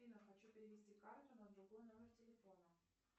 афина хочу перевести карту на другой номер телефона